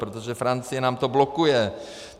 Protože Francie nám to blokuje.